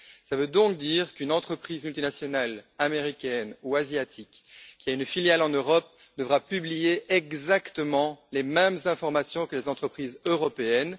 Cela veut donc dire qu'une entreprise multinationale américaine ou asiatique qui a une filiale en Europe devra publier exactement les mêmes informations que les entreprises européennes.